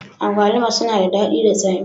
Agwaluma sunada daɗi da tsami.